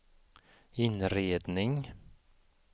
inredning